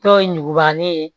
Dɔw ye ɲugubalen ye